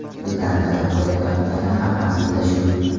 Bizdan talab qilinayotgani ham aslida shu.